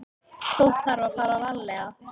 Þó þarf að fara varlega.